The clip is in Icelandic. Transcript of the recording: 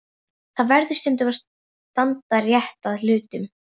Það verður að standa rétt að hlutunum.